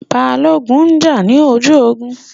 Balógun n jà ní ojú ogun